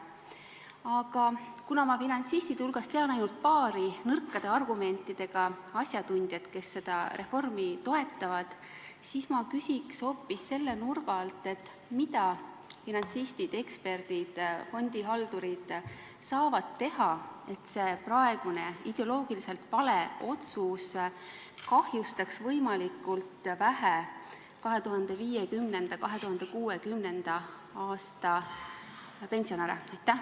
Aga kuna ma finantsistide hulgast tean ainult paari nõrkade argumentidega asjatundjat, kes seda reformi toetavad, siis ma küsiks hoopis selle nurga alt, et mida finantsistid, eksperdid ja fondihaldurid saavad teha, et see praegune ideoloogiliselt vale otsus kahjustaks 2050.–2060. aasta pensionäre võimalikult vähe.